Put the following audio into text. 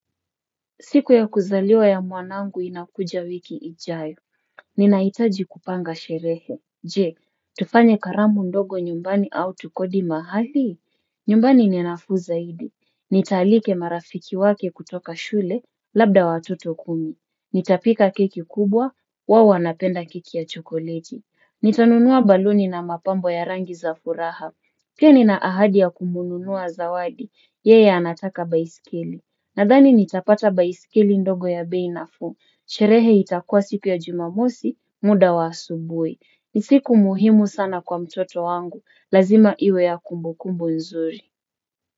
Siku ya kuzaliwa ya mwanangu inakuja wiki ijayo. Ninahitaji kupanga sherehe. Je, tufanye karamu ndogo nyumbani au tukodi mahali? Nyumbani ni nafuu zaidi. Nitaalika marafiki wake kutoka shule labda watoto kumi. Nitapika keki kubwa, wao wanapenda keki ya chokoleti. Nitanunua baluni na mapambo ya rangi za furaha. Pia nina ahadi ya kumnunua zawadi. Yeye anataka baiskeli. Nadhani nitapata baiskeli ndogo ya bei nafu. Sherehe itakuwa siku ya jumamosi, muda wa asubuhi. Ni siku muhimu sana kwa mtoto wangu. Lazima iwe ya kumbukumbu nzuri.